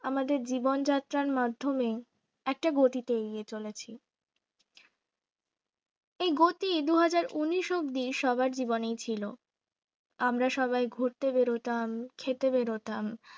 আমাদের জীবনযাত্রার মাধ্যমে একটা গতিতে এগিয়ে চলেছি এই গতি দুহাজার উনিশ অবধি সবার জীবনেই ছিল আমরা সবাই ঘুরতে বের হতাম খেতে বের হতাম